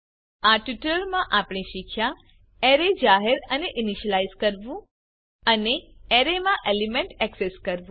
આ ટ્યુટોરીયલમાં આપણે શીખ્યા અરે જાહેર અને ઈનીશ્યલાઈઝ કરવું અને અરેમાં એલિમેન્ટ એક્સેસ કરવું